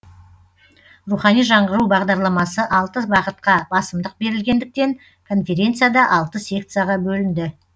рухани жаңғыру бағдарламасы алты бағытқа басымдық берілгендіктен конференция да алты секцияға бөлінді